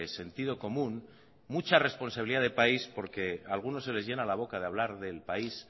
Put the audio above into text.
sentido común mucha responsabilidad de país porque algunos se les llena la boca de hablar del país